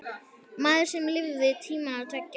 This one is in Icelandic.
Maður sem lifði tímana tvenna.